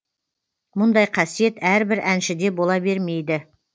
мұндай қасиет әрбір әншіде бола бермейді